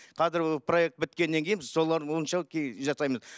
қазір проект біткеннен кейін біз солар бойынша жасаймыз